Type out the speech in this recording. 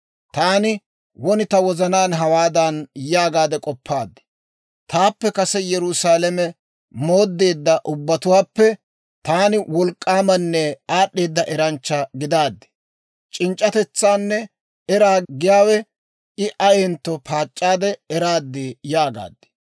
Taani won ta wozanaan hawaadan yaagaade k'oppaad; «Taappe kase Yerusaalame mooddeedda ubbatuwaappe taani wolk'k'aamanne aad'd'eeda eranchcha gidaaddi. C'inc'c'atetsaanne eraa giyaawe I ayentto paac'c'aade eraad» yaagaad.